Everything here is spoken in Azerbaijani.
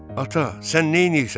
Ata, sən neynirsən?